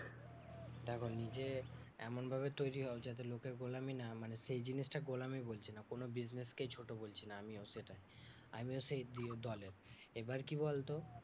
দেখো নিজে এমনভাবে তৈরী হও যাতে লোকের গোলামী না মানে সেই জিনিসটা গোলামী বলছি না, কোনো business কেই ছোট বলছি না আমিও সেটা আমিও সেই দলে। এবার কি বলতো,